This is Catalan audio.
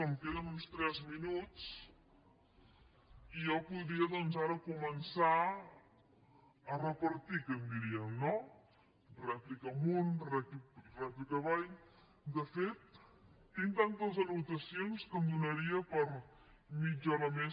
em queden uns tres minuts i jo podria doncs ara començar a repartir que en diríem no rèplica amunt rèplica avall de fet tinc tantes anotacions que em donaria per a mitja hora més